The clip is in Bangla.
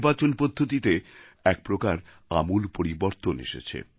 নির্বাচন পদ্ধতিতে একপ্রকার আমূল পরিবর্তন এসেছে